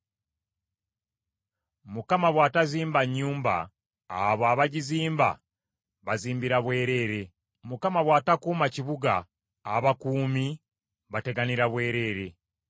Mukama bw’atazimba nnyumba, abo abagizimba bazimbira bwereere. Mukama bw’atakuuma kibuga, abakuumi bateganira bwereere.